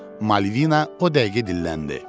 Malvina o dəqiqə dilləndi.